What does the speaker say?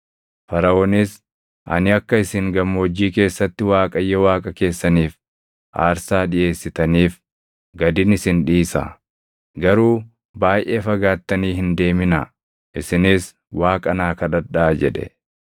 Faraʼoonis, “Ani akka isin gammoojjii keessatti Waaqayyo Waaqa keessaniif aarsaa dhiʼeessitaniif gadin isin dhiisa; garuu baayʼee fagaattani hin deeminaa. Isinis Waaqa naa kadhadhaa” jedhe.